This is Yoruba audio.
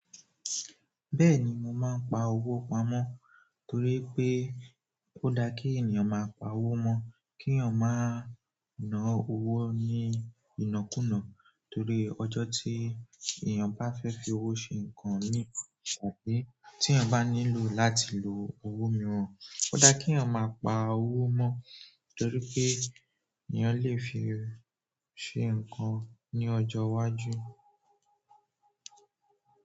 Bẹ́ẹ̀ni, mo máa ń pa owó pamọ́ torípé ó da kí ènìyàn máa pa owó mọ́ k'éyàn má ná owó ní ìnákúnàá torí ọjọ́ tí èèyàn bá fẹ́ fi owó ṣẹ ǹǹkan míì, tàbí tí èèyàn bá nílò láti lo owó mìíràn, ó da kí èèyàn máa pa owó mọ́, torí pé èèyàn lè fi ṣe ǹǹkan ní ọjọ́ iwájú.